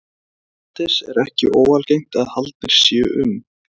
Erlendis er ekki óalgengt að haldnir séu um